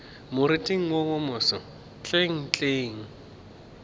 moriting wo wo moso hlenghleng